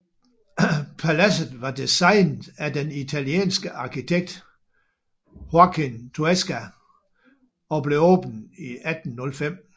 Paladset var designet af den italienske arkitekt Joaquín Toesca og blev åbnet i 1805